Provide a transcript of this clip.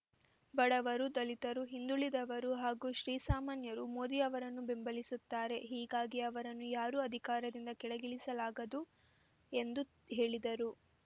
ಬಡವರು ದಲಿತರು ಹಿಂದುಳಿದವರು ಹಾಗೂ ಶ್ರೀಸಾಮಾನ್ಯರು ಮೋದಿ ಅವರನ್ನು ಬೆಂಬಲಿಸುತ್ತಾರೆ ಹೀಗಾಗಿ ಅವರನ್ನು ಯಾರೂ ಅಧಿಕಾರದಿಂದ ಕೆಳಗಿಳಿಸಲಾಗದು ಎಂದು ಹೇಳಿದರು